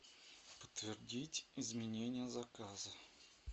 подтвердить изменение заказа